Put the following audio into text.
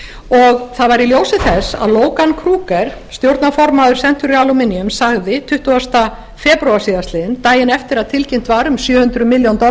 og það var í ljósi þess að logan kruger stjórnarformaður century aluminum sagði tuttugasta febrúar síðastliðinn daginn eftir að tilkynnt var um sjö hundruð milljónir